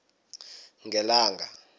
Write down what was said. ngelanga